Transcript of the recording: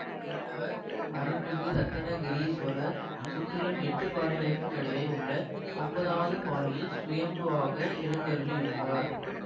மூலவர் அருள்மிகு ரத்னகிரீஸ்வரர் சுற்றிலும் எட்டு பாறைகளுக்கு நடுவே உள்ள ஒன்பதாவது பாறையில் சுயம்புவாக எழுந்தருளியுள்ளார்